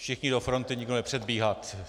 Všichni do fronty, nikdo nepředbíhat.